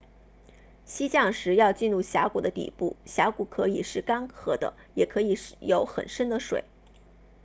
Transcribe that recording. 溪降时要进入峡谷的底部峡谷可以是干涸的也可以有很深的水